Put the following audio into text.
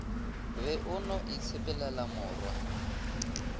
be o no itshepelela morwa